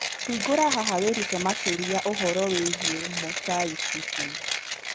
Hingũra haha wĩrute makĩria ũhoro wĩgiĩ mosaicism.